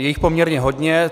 Je jich poměrně hodně.